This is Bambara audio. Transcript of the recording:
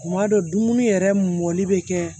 Kuma dɔ dumuni yɛrɛ mɔli bɛ kɛ